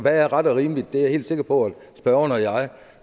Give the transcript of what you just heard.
er ret og rimeligt det er jeg helt sikker på at spørgeren og jeg